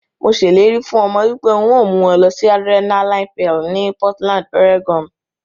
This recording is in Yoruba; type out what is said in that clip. Mo se ileri fun omo wipe n o mu won losi Adrenaline Peal ni Portland, Oregon.